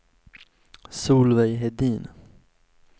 Solveig Hedin